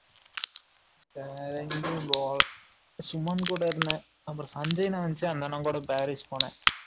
வேற எங்கயும் போல சுமன் கூட இருந்தேன் அப்பறம் சஞ்சய் அண்ணன் வந்துச்சா அந்த அண்ணன் கூட பாரிஸ் போனேன்